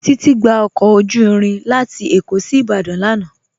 Titi gbà ọkọ ojú irin lati Ékó sí Ìbàdàn lánà.